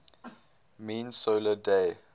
mean solar day